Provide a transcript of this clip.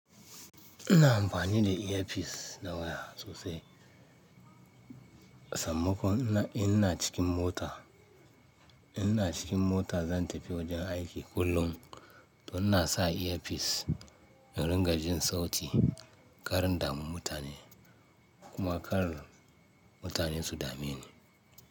Ina amfani da earpiece da waya sosai, sammakon ina cikin mota. Ina cikin mota zan tafi wajen aiki kullum, don na sa earpiece in ringa jin sauti karin damu mutane kuma kar mutanen su dame ni.